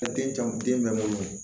Den caman den bɛ mun